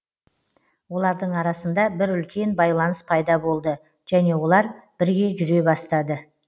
олардың арасында бір үлкен байланыс пайда болды және олар бірге жүре бастады